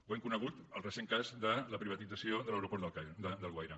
ho hem conegut en el recent cas de la privatització de l’aeroport d’alguaire